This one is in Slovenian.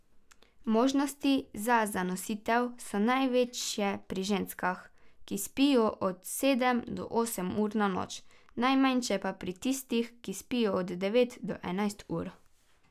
Možnosti za zanositev so največje pri ženskah, ki spijo od sedem do osem ur na noč, najmanjše pa pri tistih, ki spijo od devet do enajst ur.